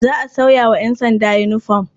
Za a sauya wa ƴansanda yinifom.